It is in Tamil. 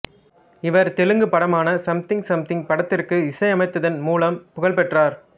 இவர் தெலுங்கு படமான சம்திங் சம்திங் படத்திற்கு இசையமைத்ததின் மூலம் புகழ்பெற்றார்